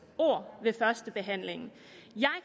ord ved første behandling